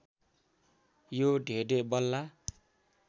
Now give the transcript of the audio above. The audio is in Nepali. यो ढेँ ढेँ बल्ला